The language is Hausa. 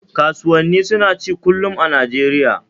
Kasuwannani suna ci kullum a Nijeriya